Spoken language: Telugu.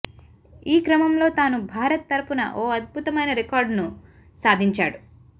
ఈ క్రమంలో తాను భారత్ తరపున ఓ అద్భుతమైన రికార్డును సాధించాడు